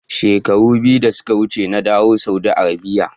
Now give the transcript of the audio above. Shekaru biyu da suka wuce na dawo daga Saudi Arabia